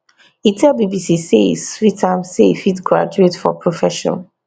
e tell bbc say e sweet am say e fit graduate for profession